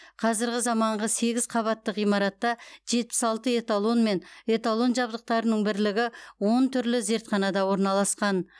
қазіргі заманғы сегіз қабатты ғимаратта жетпіс алты эталон мен эталон жабдықтарының бірлігі он түрлі зертханада орналасқан